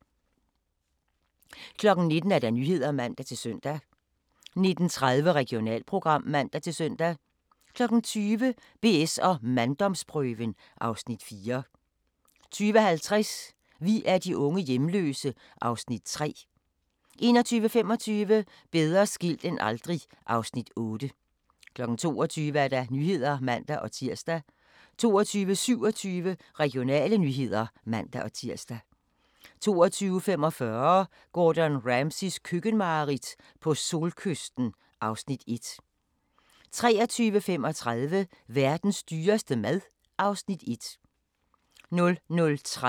19:00: Nyhederne (man-søn) 19:30: Regionalprogram (man-søn) 20:00: BS & manddomsprøven (Afs. 4) 20:50: Vi er de unge hjemløse (Afs. 3) 21:25: Bedre skilt end aldrig (Afs. 8) 22:00: Nyhederne (man-tir) 22:27: Regionale nyheder (man-tir) 22:45: Gordon Ramsays køkkenmareridt - på solkysten (Afs. 1) 23:35: Verdens dyreste mad (Afs. 1) 00:30: Grænsepatruljen